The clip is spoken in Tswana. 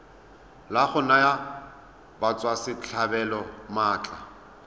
la go naya batswasetlhabelo maatla